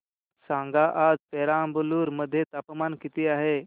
सांगा आज पेराम्बलुर मध्ये तापमान किती आहे